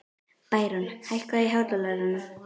Bæron, hækkaðu í hátalaranum.